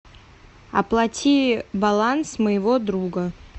оплати баланс моего друга